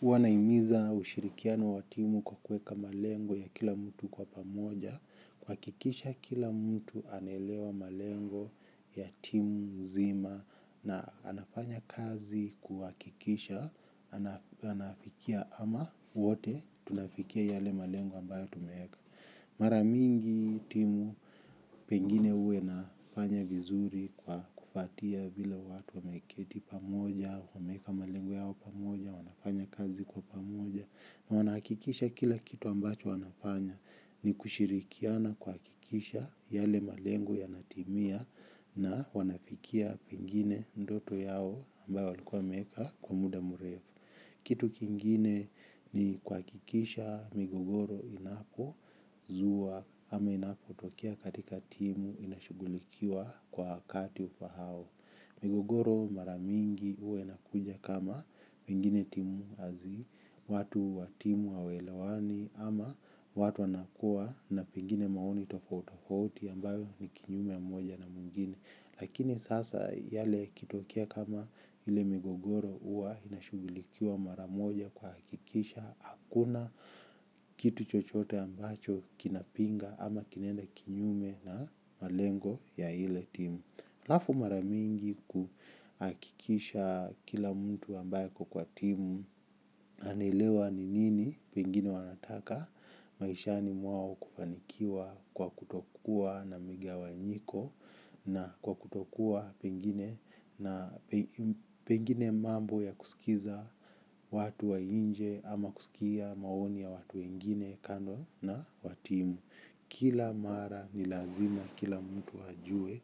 Huwa naimiza ushirikiano wa timu kwa kuweka malengo ya kila mtu kwa pamoja, kuhakikisha kila mtu anaelewa malengo ya timu nzima na anafanya kazi kuhakikisha, anafikia ama wote tunafikia yale malengo ambayo tumeweka. Mara mingi timu pengine uwe nafanya vizuri kwa kufuatilia vile watu wameketi pamoja, wameweka malengo yao pamoja, wanafanya kazi kwa pamoja. Na wanahakikisha kila kitu ambacho wanafanya ni kushirikiana kuhakikisha yale malengo yanatimia na wanafikia pengine ndoto yao ambayo walikuwa wameweka kwa muda mrefu. Kitu kingine ni kuhakikisha migogoro inapozua ama inapotokea katika timu inashugulikiwa kwa wakati ufahao. Migogoro mara mingi huwa inakuja kama pengine timu hazi, watu wa timu hawaelewani ama watu wanakuwa na pengine maoni tofauti tofauti ambayo ni kinyume ya moja na mwingine. Lakini sasa yale yakitokea kama ile migogoro huwa inashughulikiwa mara moja kuhakikisha hakuna kitu chochote ambacho kinapinga ama kinaenda kinyume na malengo ya ile team. Alafu mara mingi kuhakikisha kila mtu ambaye ako kwa timu anaelewa ni nini pengine wanataka maishani mwao kufanikiwa kwa kutokua na migawanyiko na kwa kutokua pengine mambo ya kusikiza watu wa nje ama kusikia maoni ya watu wengine kando na wa timu. Kila mara ni lazima kila mtu ajue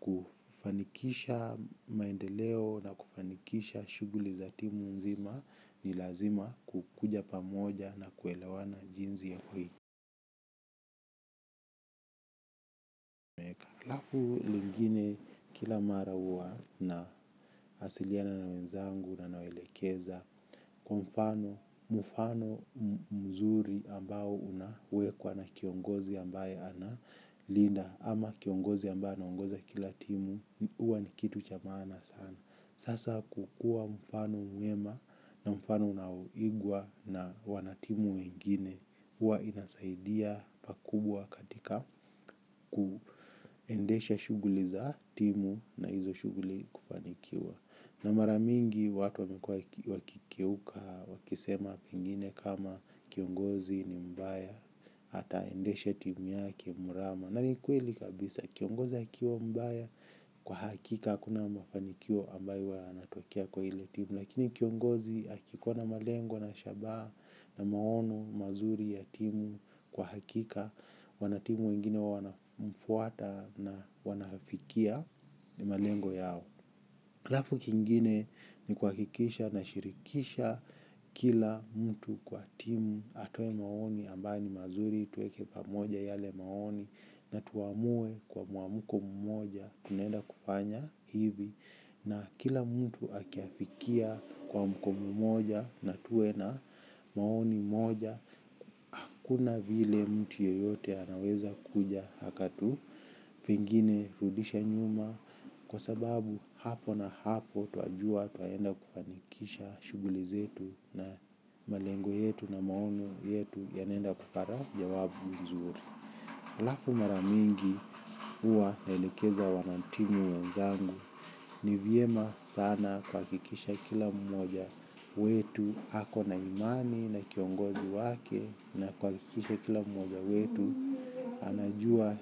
kufanikisha maendeleo na kufanikisha shughuli za timu nzima. Ni lazima kukuja pamoja na kuelewana jinsi ya alafu lingine kila mara huwa na wasiliana na wenzangu na nawaelekeza. Kwa mfano mzuri ambao unawekwa na kiongozi ambaye ana linda ama kiongozi ambayo anaongoza kila timu huwa ni kitu cha maana sana. Sasa kukuwa mfano mwema na mfano unaoigwa na wana timu wengine huwa inasaidia pakubwa katika kuendesha shuguli za timu na hizo shuguli kufanikiwa. Na mara mingi watu wamekuwa wakikeuka wakisema pengine kama kiongozi ni mbaya ataendesha timu yake mrama. Na ni kweli kabisa kiongozi akiwa mbaya kwa hakika hakuna mafanikio ambayo huwa yanatokea kwa ile timu. Lakini kiongozi akikuwa na malengo na shabaha na maono mazuri ya timu kwa hakika. Wanatimu wengine wanafuata na wanafikia malengo yao alafu kingine ni kuhakikisha nashirikisha kila mtu kwa timu atoe maoni ambayo ni mazuri tuweke pamoja yale maoni na tuamue kwa muamko mmoja tunaenda kufanya hivi na kila mtu akiafikia muamko mmoja na tuwe na maoni moja hakuna vile mtu yeyote anaweza kuja akatu pengine kurudisha nyuma kwa sababu hapo na hapo twajua tunaenda kufanikisha shughuli zetu na malengo yetu na maono yetu yanaenda kupata jawabu nzuri alafu mara mingi huwa naelekeza wana timu wenzangu. Ni vyema sana kuhakikisha kila mmoja wetu ako na imani na kiongozi wake na kuhakikisha kila mmoja wetu anajua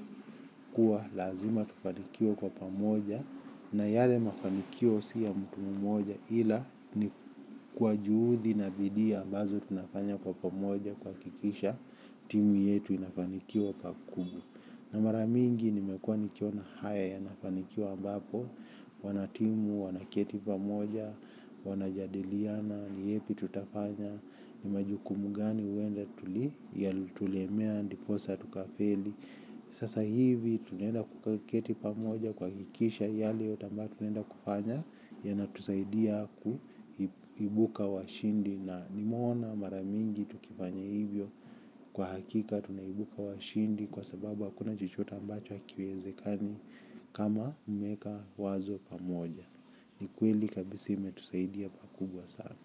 kuwa lazima tufanikiwe kwa pamoja. Na yale mafanikio si ya mtu mmoja ila ni kwa juhudi na bidii ambazo tunafanya kwa pamoja kuhakikisha timu yetu inafanikiwa pakubwa na mara mingi nimekuwa nikiona haya yanafanikiwa ambapo wanatimu, wanaketi pamoja, wanajadiliana, ni yepi tutafanya ni majukumu gani huenda yalitulemea, ndiposa, tukafeli sasa hivi tunaenda kuketi pamoja kuhakikisha yale yote ambayo tunaenda kufanya yanatusaidia kuibuka washindi na nimeona mara mingi tukifanya hivyo kwa hakika tunaibuka washindi kwa sababu hakuna chochote ambacho hakiwezekani kama umeweka wazo pamoja ni kweli kabisa imetusaidia pakubwa sana.